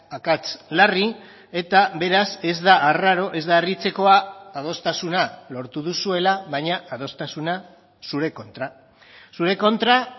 akats larri eta beraz ez da arraro ez da harritzekoa adostasuna lortu duzuela baina adostasuna zure kontra zure kontra